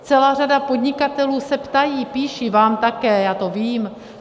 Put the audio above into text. Celá řada podnikatelů se ptá, píše, vám také, já to vím.